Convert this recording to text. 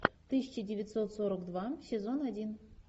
тысяча девятьсот сорок два сезон один